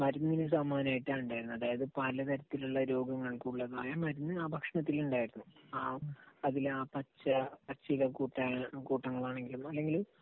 മരുന്നിനു സമാനമായിട്ട ഉണ്ടായിരുന്നത്. അതായത് പലതരത്തിലുള്ള രോഗങ്ങൾക്കുള്ളതായ മരുന്ന് ആ ഭക്ഷണത്തിലുണ്ടായിരുന്നു. അതിൽ ആ പച്ച, പച്ചില കൂട്ടാൻ, കൂട്ടങ്ങളാണെങ്കിലും അല്ലെങ്കില്